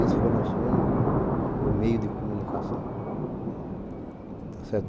Esse foi o nosso único meio de comunicação.